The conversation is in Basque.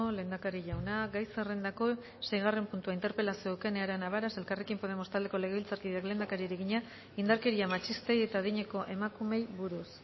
lehendakari jauna gai zerrendako seigarren puntua interpelazioa eukene arana varas elkarrekin podemos taldeko legebiltzarkideak lehendakariari egina indarkeria matxistei eta adineko emakumeei buruz